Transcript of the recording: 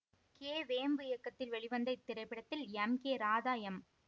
K Vembu இயக்கத்தில் வெளிவந்த இத்திரைப்படத்தில் எம் கே ராதா எம்